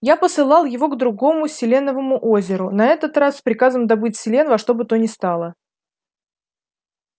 я посылал его к другому селеновому озеру на этот раз с приказом добыть селен во что бы то ни стало